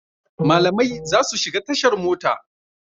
Malamai za su shiga tashar mota.